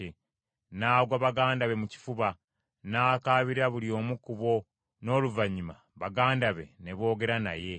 N’agwa baganda be mu kifuba, n’akaabira buli omu ku bo; n’oluvannyuma baganda be ne boogera naye.